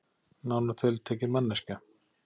Nánar tiltekið manneskja.